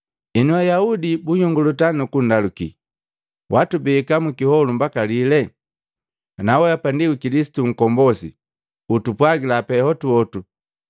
Henu, Ayaudi bunhyongolota nukundaluki, “Watubeka mukiholu mbaka lile? Ana weapa ndi Kilisitu Nkombosi utupwagila pe hotuhotu.”